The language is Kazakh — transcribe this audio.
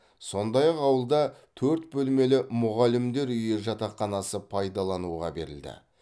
сондай ақ ауылда төрт бөлмелі мұғалімдер үйі жатақханасы пайдалануға берілді